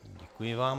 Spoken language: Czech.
Děkuji vám.